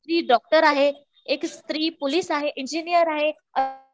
स्त्री डॉक्टर आहे, एक स्त्री पोलीस आहे इंजिनियर आहे